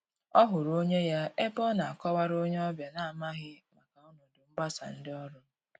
Ọ hụrụ onye ya ebe ọ na akọ wara onye ọbịa na n'amaghi maka ọnọdụ mgbasa ndị ọrụ.